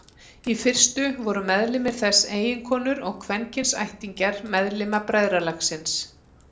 Í fyrstu voru meðlimir þess eiginkonur og kvenkyns ættingjar meðlima bræðralagsins.